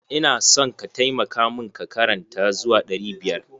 Ina son ka taimaka mun ka karanta zuwa ɗari biyar.